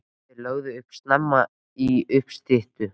Þeir lögðu upp snemma í uppstyttu.